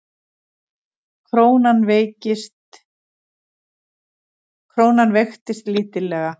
Krónan veiktist lítillega